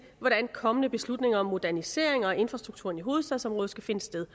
hvordan kommende beslutninger om moderniseringer af infrastrukturen i hovedstadsområdet skal finde sted